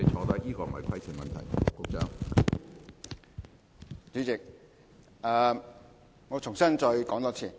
主席，我重新作答。